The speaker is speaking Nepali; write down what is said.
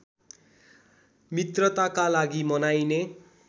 मित्रताका लागि मनाइने